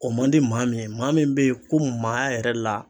O man di maa min ye maa min be ye ko maaya yɛrɛ la